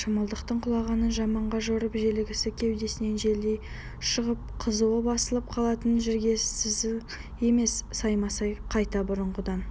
шымылдықтың құлағанын жаманға жорып желігі кеудесінен желдей шығып қызуы басылып қалатын жігерсізің емес саймасай қайта бұрынғыдан